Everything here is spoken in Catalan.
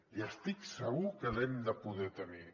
i estic segur que l’hem de poder tenir